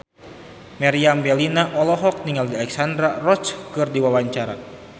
Meriam Bellina olohok ningali Alexandra Roach keur diwawancara